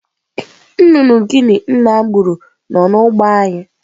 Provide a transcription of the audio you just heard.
Nna nnụnụ Guinea gburu nọ n'ugbo anyị.